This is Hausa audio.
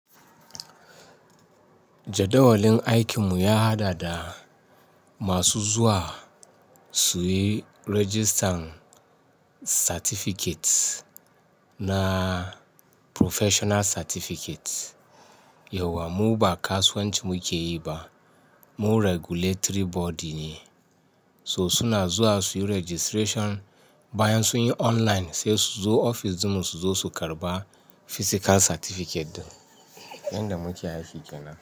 Jadawalin aikin mu ya haɗa da masu zuwa su yi registan certificate na professional certificate. Yauwa mu ba kasuwanci mu ke yi ba, mu regulatory body ne. So suna zuwa su yi registration, bayan sun yi online sai su zo ofis ɗinmu su zo su karɓa physical certificate. Yanda muke aiki kenan.